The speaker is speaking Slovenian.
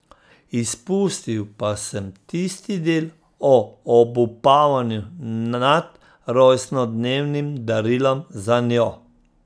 Izpustil pa sem tisti del o obupavanju nad rojstnodnevnim darilom zanjo.